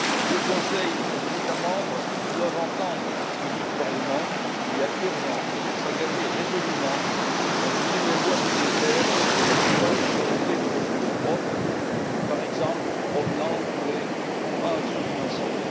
Le Conseil et les États membres doivent entendre ce que dit le Parlement il y a urgence à s'engager résolument dans une nouvelle voie budgétaire où l'Union serait dotée de ressources propres, provenant par exemple des transactions financières.